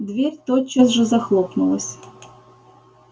дверь тотчас же захлопнулась